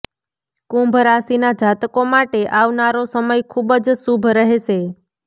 કુંભ રાશિના જાતકો માટે આવનારો સમય ખુબ જ શુભ રહેશે